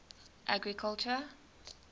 agriculture